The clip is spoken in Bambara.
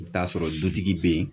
I bi t'a sɔrɔ dutigi be yen